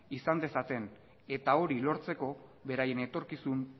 izan dezaten eta hori lortzeko beraien etorkizun